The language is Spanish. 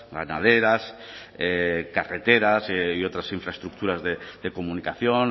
ganaderas carreteras y otras infraestructuras de comunicación